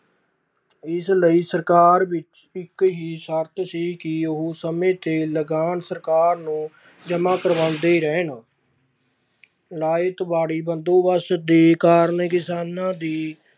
ਇਸ ਲਈ ਸਰਕਾਰ ਵਿੱਚ ਇੱਕ ਹੀ ਸਰਤ ਸੀ ਕਿ ਉਹ ਸਮੇਂ ਤੇ ਲਗਾਨ ਸਰਕਾਰ ਨੂੰ ਜਮਾਂ ਕਰਵਾਉਂਦੇ ਰਹਿਣ ਰਾਇਅਤਵਾੜੀ ਬੰਦੋਬਸਤ ਦੇ ਕਾਰਨ ਕਿਸਾਨਾਂ ਦੀ